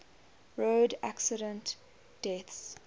road accident deaths